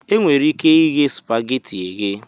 E nwere ike ighe supageti eghe.